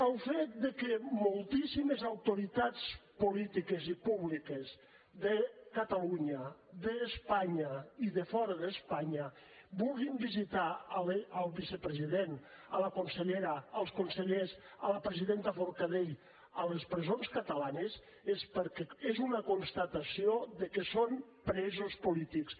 el fet que moltíssimes autoritats polítiques i públiques de catalunya d’espanya i de fora d’espanya vulguin visitar el vicepresident la consellera els consellers la presidenta forcadell a les presons catalanes és una constatació que són presos polítics